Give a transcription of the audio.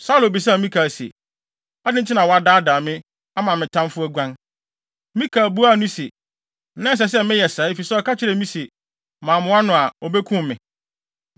Saulo bisaa Mikal se, “Adɛn nti na woadaadaa me, ama me tamfo aguan?” Mikal buaa no se, “Na ɛsɛ sɛ meyɛ saa efisɛ ɔka kyerɛɛ me se, ‘Mammoa no a, obekum me.’ ”